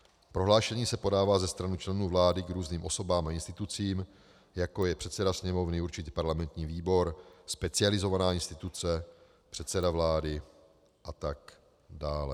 Prohlášení se podává ze strany členů vlády k různým osobám a institucím, jako je předseda sněmovny, určitě parlamentní výbor, specializovaná instituce, předseda vlády a tak dále.